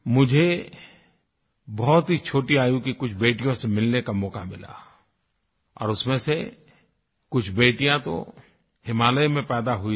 मुझे बहुत ही छोटी आयु की कुछ बेटियों से मिलने का मौका मिला और उसमें से कुछ बेटियां तो हिमालय में पैदा हुई थी